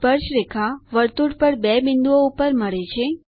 સ્પર્શરેખા વર્તુળ પર બે બિંદુઓ ઉપર મળે છે